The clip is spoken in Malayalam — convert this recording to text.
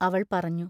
അവൾ പറഞ്ഞു.